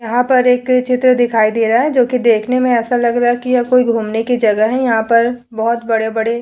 यहाँ पर एक चित्र दिखाई दे रहा है जोकि देखने में ऐसा लग रहा है कि यह कोई घूमने की जगह है। यहाँ पर बहोत बड़े-बड़े --